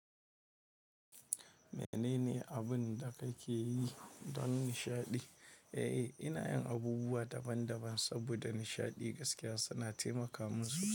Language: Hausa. Menene abun da ka ke yi don nishaɗi? Eh, ina yin abubuwa daban-daban saboda nishaɗi gaskiya suna taimaka musu.